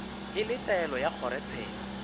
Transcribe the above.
e le taelo ya kgorotsheko